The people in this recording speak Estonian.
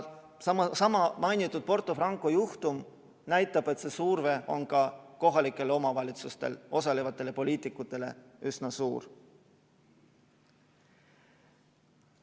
Seesama mainitud Porto Franco juhtum näitab, et surve on ka kohalike omavalitsuste töös osalevatele poliitikutele üsna suur.